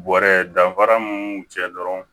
Bɔrɛ danfara mun b'u cɛ dɔrɔn